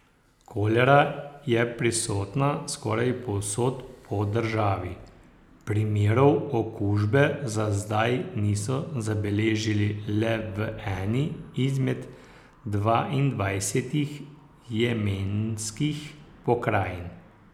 Kolera je prisotna skoraj povsod po državi, primerov okužbe za zdaj niso zabeležili le v eni izmed dvaindvajsetih jemenskih pokrajin.